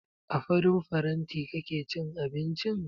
A farin faranti kake cin abincin?